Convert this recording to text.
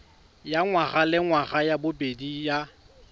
ya ngwagalengwaga ya bobedi ya